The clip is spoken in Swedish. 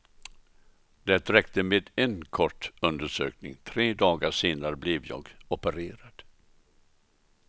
Det räckte med en kort undersökning, tre dagar senare blev jag opererad.